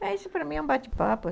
Mas isso para mim é um bate-papo.